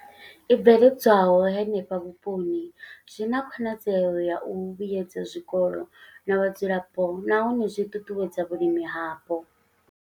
I bveledzwaho henefho vhuponi zwi na khonadzeo ya u vhuedza zwikolo na vhadzulapo nahone zwi ṱuṱuwedza vhulimi hapo.